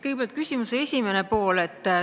Kõigepealt küsimuse esimene pool.